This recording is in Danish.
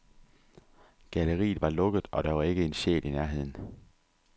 Galleriet var lukket, og der var ikke en sjæl i nærheden.